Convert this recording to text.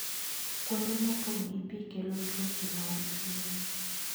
Kuonde mopong' gi pi kelo tuoche mag pien.